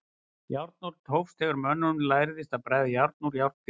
Járnöld hófst þegar mönnum lærðist að bræða járn úr járngrýti.